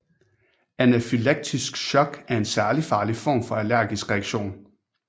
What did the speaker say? Anafylaktisk shock er en særlig farlig form for allergisk reaktion